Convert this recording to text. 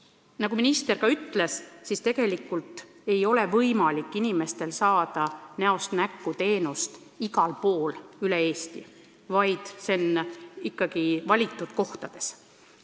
Nagu minister ka ütles, tegelikult ei ole võimalik saada nn näost näkku teenust igal pool Eestis, see võimalus on vaid valitud kohtades.